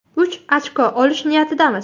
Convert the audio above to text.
Uch ochko olish niyatidamiz.